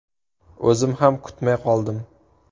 O‘zim ham kutmay qoldim.